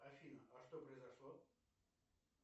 афина а что произошло